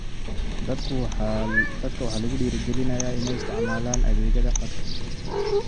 Dadka waxaa lagu dhiirigelinayaa inay isticmaalaan adeegyada khadka.